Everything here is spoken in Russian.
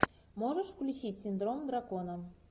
можешь включить синдром дракона